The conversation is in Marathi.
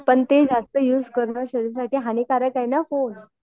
पण ते जास्त युज करणं शरीरासाठी हानिकारक आहे ना फोन